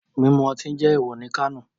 Mimu oti jẹ ewọ ni Kano